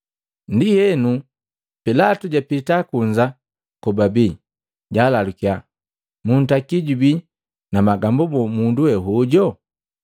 Ndienu Pilatu japita kunza kobabii, jalalukiya, “Muntaki jubii na magambu boo mundu we hojo?”